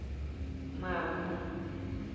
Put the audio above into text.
mavu